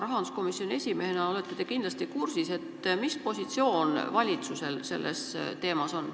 Rahanduskomisjoni esimehena esindate te koalitsiooni ja olete kindlasti kursis, mis positsioon valitsusel selles küsimuses on.